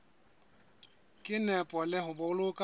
ka nepo le ho boloka